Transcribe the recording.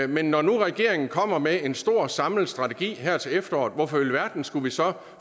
men når nu regeringen kommer med en stor samlet strategi her til efteråret hvorfor i alverden skulle vi så